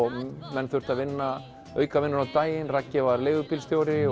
menn þurftu að vinna aukavinnu á daginn Raggi var leigubílstjóri